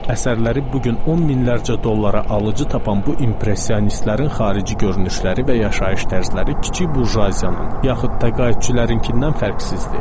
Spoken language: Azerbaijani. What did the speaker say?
Əsərləri bu gün on minlərlə dollara alıcı tapan bu impressionistlərin xarici görünüşləri və yaşayış tərzləri kiçik burjuaziyanın, yaxud təqaüdçülərinkindən fərqsizdir.